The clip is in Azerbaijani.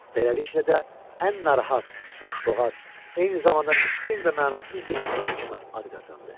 Beləliklə də ən narahat, boşboğaz, eyni zamanda miskin və mənasız bir adam kimi ad qazandı.